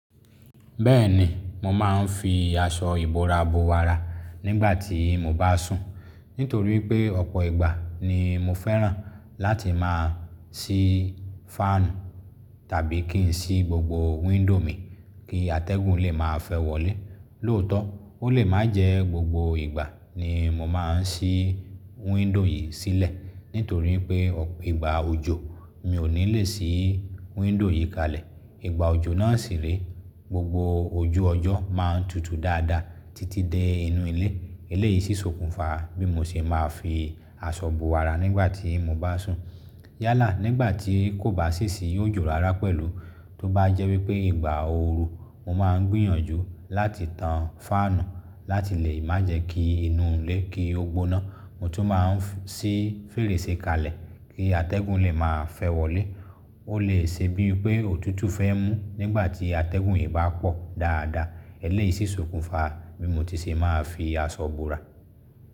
Bẹ́ẹ̀ni, mo máa ń fi aṣọ ìbora bo àrà nígbà tí mo bá sùn. Nítorí pé ọ̀pọ̀ ìgbà ni mo fẹ́ràn láti máa ṣí fáànù tàbí kín ṣí gbogbo wíńdò mi kí atẹ́gùn lè máa fẹ́ wọlé. Lóòótọ́, ó lè má jẹ gbogbo ìgbà ni mo máa ń ṣí wíńdò yìí sílẹ̀ nítorí pé ọ̀pọ̀, ìgbà òjò mi ò ní lè ṣí wíńdò yìí kalẹ̀. Ìgbà òjò náà sì re gbogbo ojú ọjọ́ máa ń tutù dáadáa títí dé inú ilé. Eléyìí ṣí sokùn fa bí mo ṣe máa fi aṣọ bo àrà nígbà tí mo bá sùn. Yálà, nígbà tí kò bá sì sì ó jò rárá pẹ̀lú tó bá jẹ́ wípé ìgbà ooru mo máa ń gbìyànjú láti tan fáànù láti lè má jẹ́ kí inú ilé kí ó gbóná. Mo tún máa ń ṣí fèrèsé kalẹ̀ kí atẹ́gùn lè máa fẹ́ wọlé. Ó lè ṣe bí pé òtútù fẹ́ mú nígbà tí atẹ́gùn yìí bá pọ̀ dáadáa. Eléyìí ṣí sokùn fa bí mo ti ṣe máa fi aṣọ bora.